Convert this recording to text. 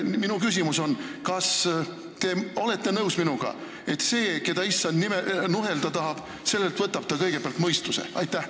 Minu küsimus on: kas te olete minuga nõus, et sellelt, keda Issand nuhelda tahab, võtab ta kõigepealt mõistuse?